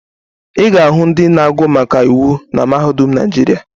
Ị ga-ahụ ndị na-agụ maka iwu na mahadum Naịjirịa